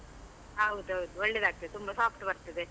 ಹೌದೌದ್, ಒಳ್ಳೆದಾಗ್ತಾದೆ ತುಂಬಾ soft ಬರ್ತದೆ.